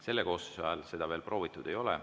Selle koosseisu ajal seda veel proovitud ei ole.